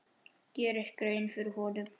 geri grein fyrir honum?